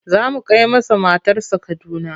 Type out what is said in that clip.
Za mu kai masa matarsa Kaduna.